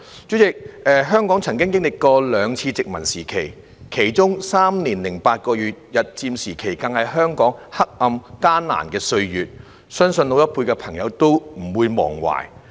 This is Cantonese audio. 主席，香港曾經歷兩次殖民時期，其中"三年零八個月"日佔時期更是香港黑暗、艱難的歲月，相信老一輩的朋友都不會忘懷。